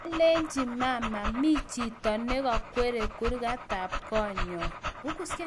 Kyalenji mama mi chito nikakwere kurget tab koo nyo